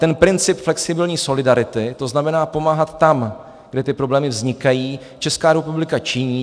Ten princip flexibilní solidarity, to znamená pomáhat tam, kde ty problémy vznikají, Česká republika činí.